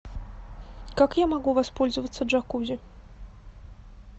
как я могу воспользоваться джакузи